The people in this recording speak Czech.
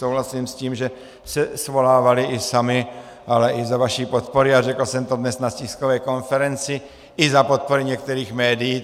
Souhlasím s tím, že se svolávali i sami, ale i za vaší podpory, a řekl jsem to dnes na tiskové konferenci, i za podpory některých médií.